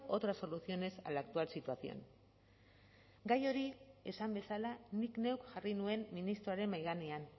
otras soluciones a la actual situación gai hori esan bezala nik neuk jarri nuen ministroaren mahai gainean